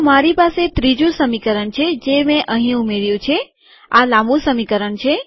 તો મારી પાસે ત્રીજું સમીકરણ છે જે મેં અહીં ઉમેર્યું છે આ લાંબુ સમીકરણ છે